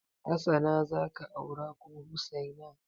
Hassana za ka aura ko Hussaina?